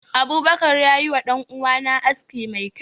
Abubakar ya yi wa danuwa na aski mai kyau.